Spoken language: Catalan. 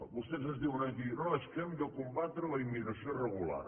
vostès ens diuen aquí no és que hem de combatre la immigració irregular